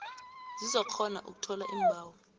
zizokukghona ukuthola iimbawo